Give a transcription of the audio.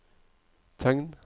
tegn